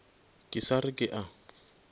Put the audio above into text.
ke sa re ke a